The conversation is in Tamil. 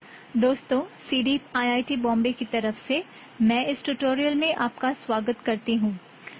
டோஸ்டன் சிடீப் ஐட் பாம்பே கி தராஃப் சே மெயின் ஐஎஸ்எஸ் டியூட்டோரியல் மெய்ன் ஆப் கா ஸ்வகத் கார்த்தி ஹோன்